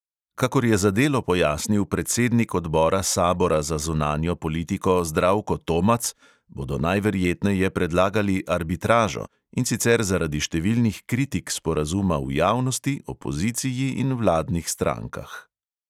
Kakor je za delo pojasnil predsednik odbora sabora za zunanjo politiko zdravko tomac, bodo najverjetneje predlagali arbitražo, in sicer zaradi številnih kritik sporazuma v javnosti, opoziciji in vladnih strankah.